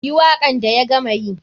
Yi wakan da ya gama yi.